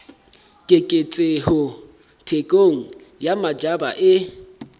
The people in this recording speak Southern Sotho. keketseho thekong ya matjhaba e